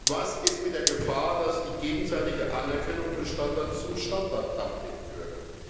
Was ist mit der Gefahr, dass die gegenseitige Anerkennung von Standards zum Standard Dumping führt?